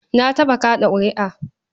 Na taɓa kaɗa ƙuri'a.